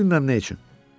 Heç bilmirəm nə üçün.